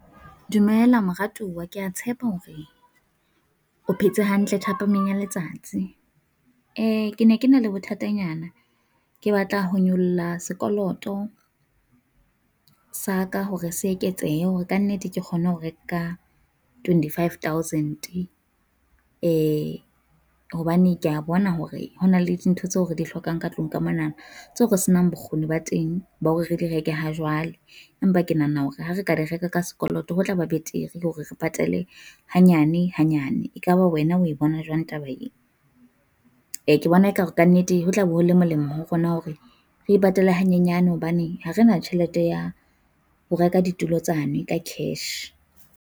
Dumela moratuwa kea tshepa hore o phetse hantle thapameng ya letsatsi, ke ne ke na le bothatanyana. Ke batla ho nyolla sekoloto sa ka hore se eketsehe hore kannete ke kgone ho reka twenty-five thousand. Hobane kea bona hore hona le dintho tseo re di hlokang ka tlung ka mona, tseo re se nang bokgoni ba teng ba hore re di reke ha jwale, empa ke nahana hore ha re ka di reka ka sekoloto, ho tla ba betere hore re patale hanyane hanyane. E ka ba wena o e bona jwang taba e? Ke bona e ka re kannete ho tla be ho le molemo ho rona hore re e patale hanyenyane hobane ha re na tjhelete ya ho reka ditulo tsane ka cash.